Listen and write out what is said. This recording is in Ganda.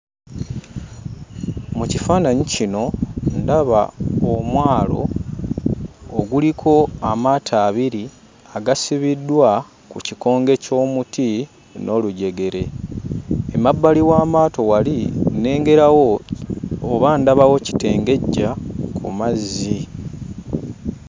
Mu kifaananyi kino ndaba omwalo oguliko amaato abiri agasibiddwa ku kikonge ky'omuti n'olujegere. Emabbali w'amaato wali, nnengerawo oba ndabawo kitengejja ku mazzi.